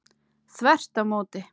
Þvert á móti!